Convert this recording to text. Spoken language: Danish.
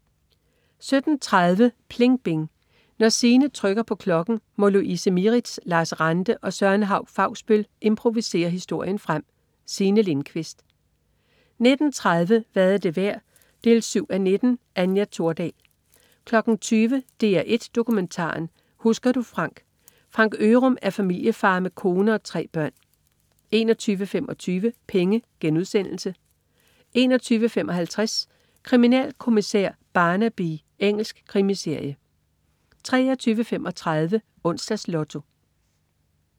17.30 PLING BING. Når Signe trykker på klokken, må Louise Mieritz, Lars Ranthe og Søren Hauch-Fausbøll improvisere historien frem. Signe Lindkvist 19.30 Hvad er det værd 7:19. Anja Thordal 20.00 DR1 Dokumentaren. Husker du Frank? Frank Ørum er familiefar med kone og tre børn 21.25 Penge* 21.55 Kriminalkommissær Barnaby. Engelsk krimiserie 23.35 Onsdags Lotto